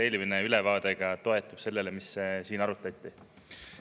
Eelmine ülevaade toetus sellele, mida ka selle arutati.